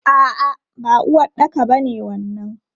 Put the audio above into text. A'a, ba uwaɗɗaka ba ne wannan.